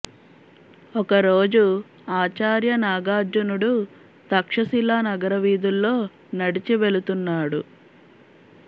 ఒక రోజు ఆచార్య నాగార్జునుడు తక్షశిలా నగర వీధుల్లో నడిచి వెళుతున్నాడు